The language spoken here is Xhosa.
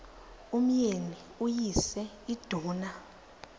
umyeni uyise iduna